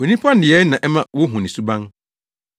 Onipa nneyɛe na ɛma wohu ne suban.